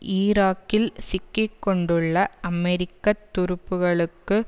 ஈராக்கில் சிக்கி கொண்டுள்ள அமெரிக்க துருப்புக்களுக்கு